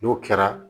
N'o kɛra